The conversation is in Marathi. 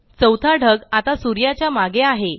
चौथा ढग आता सूर्याच्या मागे आहे